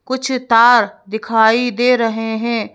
कुछ तार दिखाई दे रहे हैं।